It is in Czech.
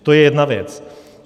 To je jedna věc.